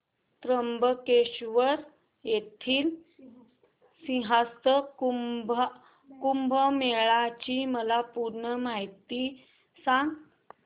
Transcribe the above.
त्र्यंबकेश्वर येथील सिंहस्थ कुंभमेळा ची मला पूर्ण माहिती सांग